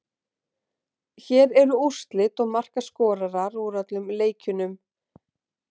Hér eru úrslit og markaskorarar úr öllum leikjunum: